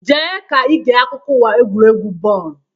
Jee ka ige akụkọ uwa egwuregwu bọọlụ!